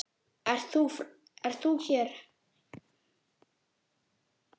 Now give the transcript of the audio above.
Ert þú hér!